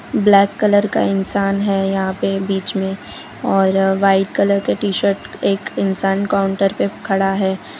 Black colour का इंसान है यहां पे बीच में और वाइट कलर के टी शर्ट एक इंसान काउंटर पे खड़ा है।